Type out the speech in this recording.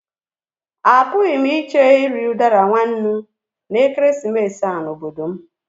Apụghị m iche iri udara nwa nnú na ekeresimesi a n'obodo m.